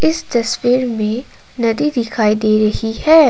इस तस्वीर में नदी दिखाई दे रही है।